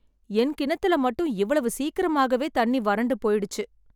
என் கிணத்துல மட்டும், இவ்வளவு சீக்கிரமாகவே தண்ணி வறண்டு போய்ச்சு.